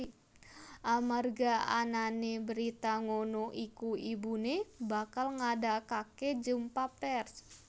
Amarga anané berita ngono iku ibuné bakal ngadakaké jumpa pers